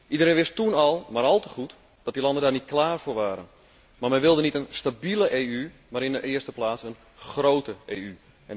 Iedereen wist toen maar al te goed dat die landen daar niet klaar voor waren, maar men wilde niet een stabiele EU, maar in de eerste plaats een grote EU.